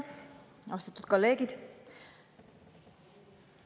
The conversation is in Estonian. Austatud kolleegid!